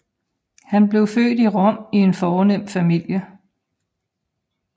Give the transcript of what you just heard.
Han blev født i Rom i en fornem familie